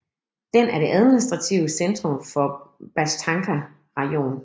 Den er det administrative centrum for Bashtanka rajon